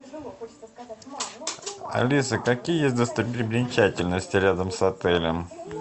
алиса какие есть достопримечательности рядом с отелем